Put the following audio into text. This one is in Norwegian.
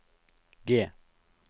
G